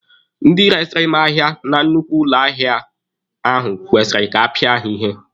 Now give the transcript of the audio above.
Ndị resiri m ahịa na nnukwu ụlọ ahịa ahụ kwesịrị ka apịa ha ihe.